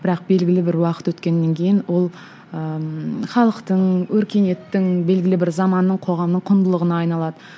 бірақ белгілі бір уақыт өткеннен кейін ол ыыы халықтың өркениеттің белгілі бір заманның қоғамның құндылығына айналады